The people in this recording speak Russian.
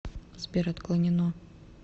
сбер отклонено